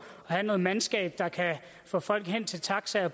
og have noget mandskab der kan få folk hen til taxaer